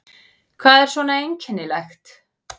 Hvað er svona einkennilegt?